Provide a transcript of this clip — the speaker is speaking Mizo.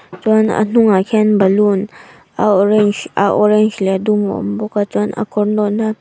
chuan a hnungah hian ballon a orange a orange leh a dum a awm bawk a chuan a kawr nawhna--